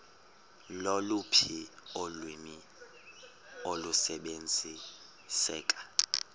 loluphi ulwimi olusebenziseka